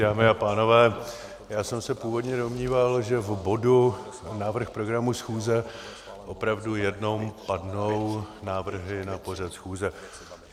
Dámy a pánové, já jsem se původně domníval, že v bodu návrh programu schůze opravdu jenom padnou návrhy na pořad schůze.